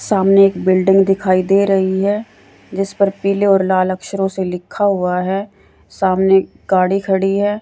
सामने एक बिल्डिंग दिखाई दे रही है जिस पर पीले और लाल अक्षरों से लिखा हुआ है सामने गाड़ी खड़ी है।